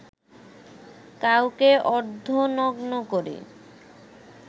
কাউকে অর্ধনগ্ন করি